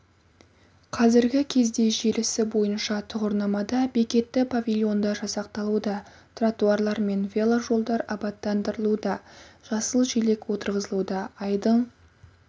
қазіргі кезде желісі бойынша тұғырнамада бекетті павильондар жасақталуда тротуарлар мен веложолдар абаттандырылуда жасыл желек отырғызылуда айдың